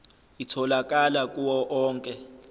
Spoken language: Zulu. itholakala kuwo onke